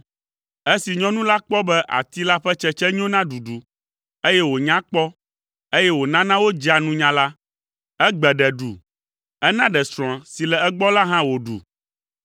Esi nyɔnu la kpɔ be ati la ƒe tsetse nyo na ɖuɖu, eye wònya kpɔ, eye wònana wodzea nunya la, egbe ɖe ɖu. Ena ɖe srɔ̃a si le egbɔ la hã wòɖu.